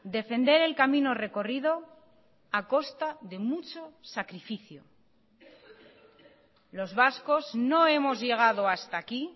defender el camino recorrido a costa de mucho sacrificio los vascos no hemos llegado hasta aquí